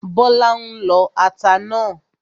Bọ́lá ń lọ ata náà